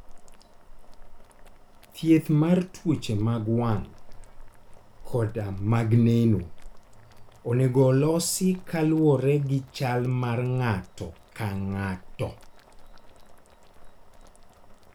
Thieth mar tuoche mag wang' koda mag neno, onego olosi kaluwore gi chal mar ng'ato ka ng'ato.